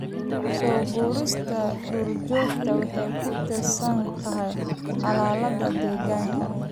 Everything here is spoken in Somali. Soo guurista duurjoogta waxay ku tiirsan tahay xaaladda deegaanka.